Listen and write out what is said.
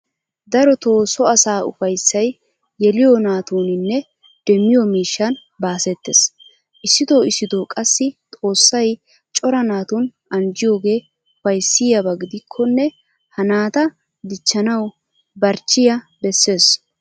Darotoo so asaa ufayssay yeliyo naatuuninne demmiyo miishshan baasettees. Issitoo issitoo qassi xoossay cora naatun anjjiyogee ufayssiyaba gidikkonne ha naata dichchanawu barchchiya bessees.